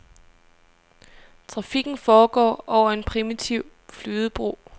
Trafikken foregår over en primitiv flydebro.